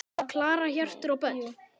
Klara, Hjörtur og börn.